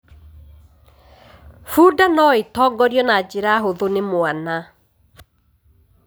Bunda no ĩtongorio na njĩra hũthũ nĩ mwana.